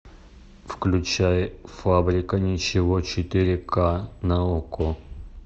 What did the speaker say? включай фабрика ничего четыре ка на окко